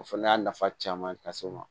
O fana y'a nafa caman lase n ma